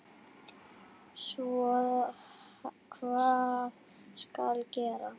Svo hvað skal gera?